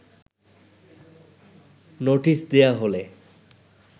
notice দেয়া হলে